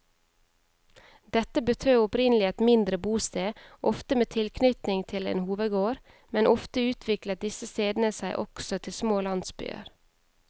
Dette betød opprinnelig et mindre bosted, ofte med tilknytning til en hovedgård, men ofte utviklet disse stedene seg også til små landsbyer.